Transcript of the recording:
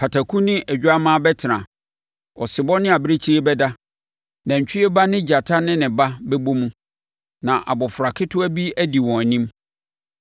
Pataku ne odwammaa bɛtena, ɔsebɔ ne abirekyie bɛda, nantwie ba ne gyata ne ne ba bɛbɔ mu; na abɔfra ketewa bi adi wɔn anim.